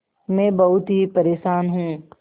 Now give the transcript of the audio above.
मैं बहुत ही परेशान हूँ